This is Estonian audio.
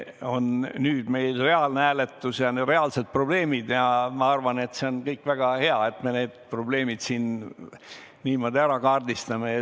Aga nüüd meil on reaalne hääletus ja reaalsed probleemid ning ma arvan, et on väga hea, et me need probleemid niimoodi ära kaardistame.